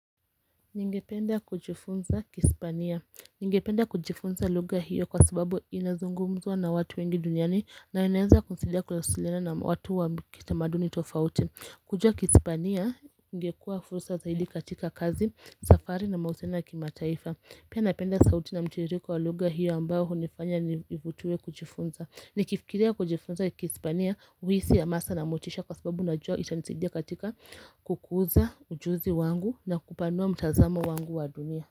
Ningependa kujifunza kihispania. Ningependa kujifunza lugha hiyo kwa sababu inazungumzwa na watu wengi duniani na inaweza kusaidia kuwasiliana na watu wa kitamaduni tofauti. Kujua kihispania ingekuwa fursa zaidi katika kazi safari na mahusiano ya kimataifa. Pia napenda sauti na mtiriko wa lugha hiyo ambayo hunifanya nivutiwe kujifunza. Nikifikiria kujifunza kihispania huhisi ya hamasa na motisha kwa sababu najuoa itanisidia katika kukuza ujuzi wangu na kupanua mtazamo wangu wa dunia.